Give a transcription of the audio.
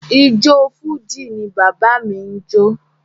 Ijó Fújì ni bàbá mi n jo.